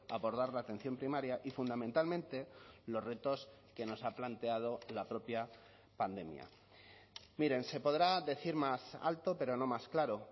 abordar la atención primaria y fundamentalmente los retos que nos ha planteado la propia pandemia miren se podrá decir más alto pero no más claro